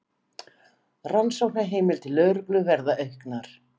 Rannsóknarheimildir lögreglu verði auknar